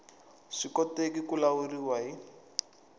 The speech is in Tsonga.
swi koteki ku lawuriwa hi